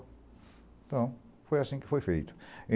Então, foi assim que foi feito.